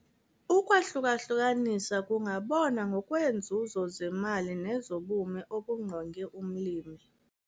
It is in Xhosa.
Ukwahluka-hlukanisa kungabonwa ngokweenzuzo zemali nezobume obungqonge umlimi.